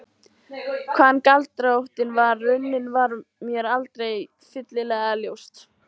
Hvaðan galdraóttinn var runninn var mér aldrei fyllilega ljóst.